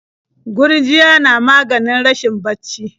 Gurjiya na maganin rashin bacci.